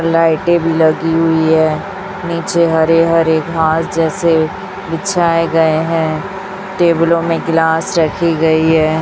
लाइटें भी लगी हुई हैं नीचे हरे हरे घास जैसे बिछाए गए हैं टेबुलों में गिलास रखी गई है।